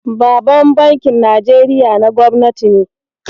Baban bankin Najeriya na Gobnati ne.